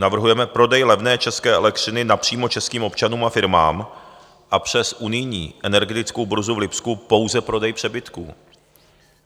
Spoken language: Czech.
Navrhujeme prodej levné české elektřiny napřímo českým občanům a firmám a přes unijní energetickou burzu v Lipsku pouze prodej přebytků.